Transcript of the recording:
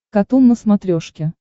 катун на смотрешке